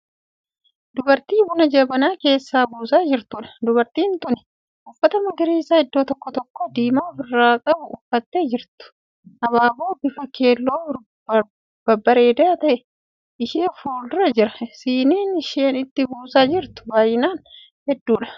Dubartii buna jabanaa keessaa buusaa jirtuudha. dubartiin tuni uffata magariisa iddoo tokko tokkoo diimaa ofirraa qabu uffattee jirtu. abaaboo bifa keelloo babbareedaa ta'e ishee fuuldura jira. siiniin isheen itti buusaa jirtu baay'inaan hedduudha.